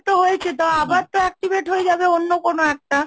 হয়েছে, তো আবার তো activate হয়ে যাবে অন্য কোন একটা?